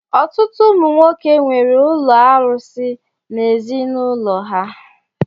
Ọtụtụ ụmụ nwoke nwere ụlọ arusi n'ezi n'ụlọ ha.